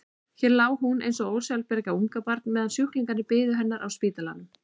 Hér lá hún eins og ósjálfbjarga ungbarn meðan sjúklingarnir biðu hennar á spítalanum.